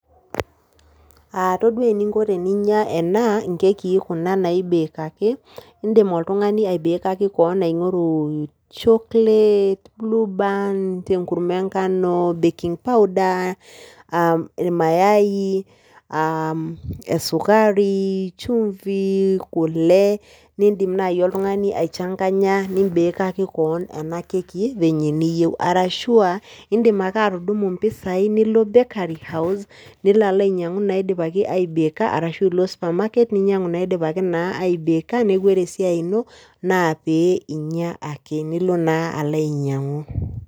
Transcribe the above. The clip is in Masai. Todua eninko teninya ena, nkekii kuna naibekaki, idim oltung'ani aibekaki keon aing'oru chocolate, blueband, enkurma ee nkano , baking powder irmayai, esukari, chumvi, kule nidim naji oltung'ani aichanganya nibekaki keon ena [c]kekj vile niyeu. Arashua idim ake atumu mpisai nilo bakery house, nilo alo ainyang'u naidipaki aibeka arashu ilo supermarket ninyang'u naidipakii naa aibeka neeku ore esiai ino naa pee inya ake. Nilo naa alo ainyang'u.